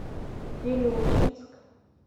вилючинск